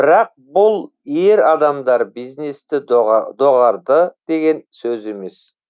бірақ бұл ер адамдар бизнесті доғарды деген сөз емес